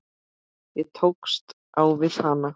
Ég tókst á við hana.